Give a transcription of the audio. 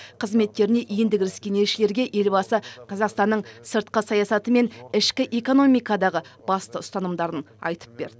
қызметтеріне енді кіріскен елшілерге елбасы қазақстанның сыртқы саясаты мен ішкі экономикадағы басты ұстанымдарын айтып берді